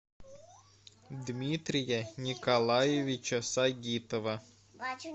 дмитрия николаевича сагитова